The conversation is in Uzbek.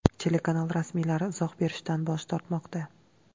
Telekanal rasmiylari izoh berishdan bosh tortmoqda.